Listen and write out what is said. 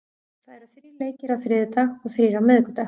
Það eru þrír leikir á þriðjudag og þrír á miðvikudag.